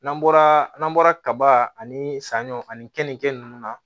N'an bɔra n'an bɔra kaba ani saɲɔ ani kenike nunnu na